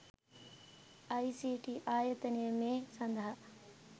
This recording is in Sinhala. අයි.සී.ටී.ආයතනය මේ සඳහා